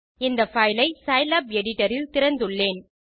இந்த பைல் ஐ Scilab editor இல் திறந்துள்ளேன்